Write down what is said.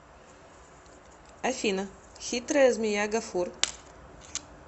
афина хитрая змея гафур